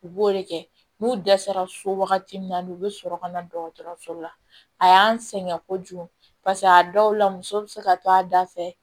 U b'o de kɛ n'u dɛsɛra so wagati min na n'u bɛ sɔrɔ ka na dɔgɔtɔrɔso la a y'an sɛgɛn kojugu paseke a dɔw la muso bɛ se ka to a da fɛ